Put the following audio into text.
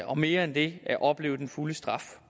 og mere end det opleve den fulde straf